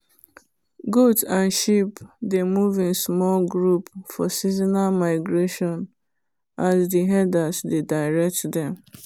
goat and sheep dey move in small group for seasonal migration as the herders dey direct them